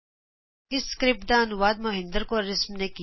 ਇਸ ਸਕਿਰਪਟ ਦਾ ਅਨੁਵਾਦ ਮਹਿੰਦਰ ਕੌਰ ਰਿਸ਼ਮ ਨੇ ਕੀਤਾ ਹੈ